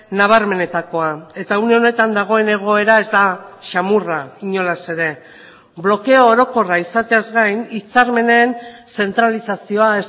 nabarmenetakoa eta une honetan dagoen egoera ez da xamurra inolaz ere blokeo orokorra izateaz gain hitzarmenen zentralizazioa